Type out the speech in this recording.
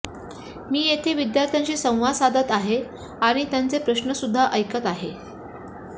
मी येथे विद्यार्थ्यांशी संवाद साधत आहे आणि त्यांचे प्रश्नसुद्धा ऐकत आहे